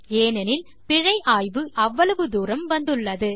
ஏனெனில் பிழை ஆய்வு இப்போது அவ்வளவு தூரம் வந்துள்ளது